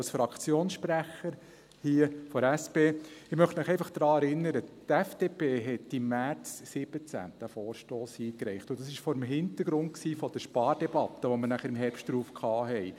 Als Fraktionssprecher der SP möchte ich Sie einfach daran erinnern, dass die FDP diesen Vorstoss im März 2017 eingereicht hatte, und dies vor dem Hintergrund der Spardebatte, die wir dann im März darauf führten.